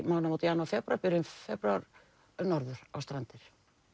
mánaðamót janúar febrúar byrjun febrúar norður á Strandir